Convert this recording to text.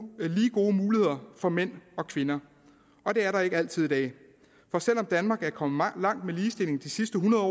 muligheder for mænd og kvinder og det er der ikke altid i dag for selv om danmark er kommet langt med ligestilling de sidste hundrede